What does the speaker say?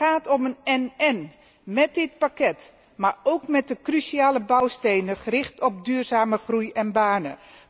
Het gaat om een én én, met dit pakket, maar ook met de cruciale bouwstenen gericht op duurzame groei en banen.